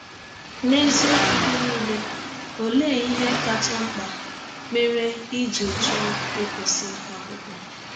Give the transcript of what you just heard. N’eziọkwụ gị niile, ọlee ihe kacha mkpa mere i jị chọọ ịkwụsị akwụkwọ?